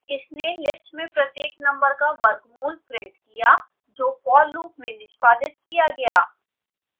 इसने लिस्ट में प्रत्येक नम्बर का वर्गमूल प्रिंट किया जो for loop में निष्पादित किया गया